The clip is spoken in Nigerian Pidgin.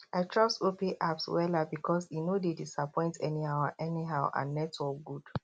i trust opay apps wella because e no dey disappoint anyhow and anyhow and network good